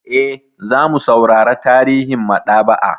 Eh, zamu saurara tarihin maɗaba'a.